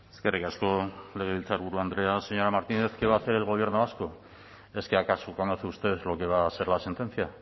eskerrik asko legebiltzarburu andrea señora martínez qué va a hacer el gobierno vasco es que acaso conoce usted lo que va a ser la sentencia